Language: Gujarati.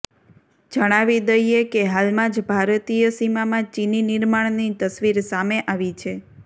જણાવી દઈએ કે હાલમાં જ ભારતીય સીમામાં ચીની નિર્માણની તસવીર સામે આવી છે